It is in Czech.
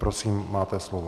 Prosím, máte slovo.